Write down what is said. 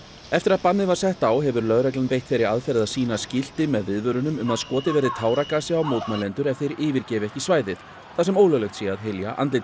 eftir að bannið var sett á hefur lögreglan beitt þeirri aðferð að sýna skilti með viðvörunum um að skotið verið táragasi á mótmælendur ef þeir yfirgefi ekki svæðið þar sem ólöglegt sé að hylja andlit